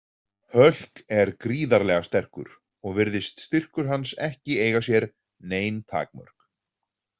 Hulk er gríðarlega sterkur og virðist styrkur hans ekki eiga sér nein takmörk.